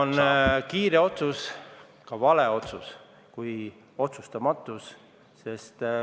... et kiire otsus – ka vale otsus – on parem kui otsustamatus.